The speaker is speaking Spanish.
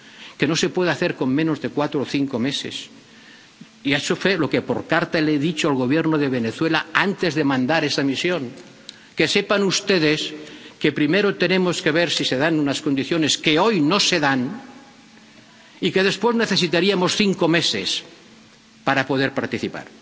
que no se puede hacer con menos de cuatro o cinco meses. Y eso fue lo que por carta le dije al Gobierno de Venezuela antes de mandar esa misión que sepan ustedes que primero tenemos que ver si se dan unas condiciones, que hoy no se dan, y que después necesitaríamos cinco meses para poder participar.